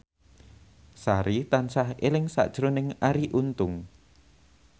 Sari tansah eling sakjroning Arie Untung